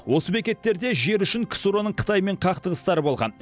осы бекеттерде жер үшін ксро ның қытаймен қақтығыстары болған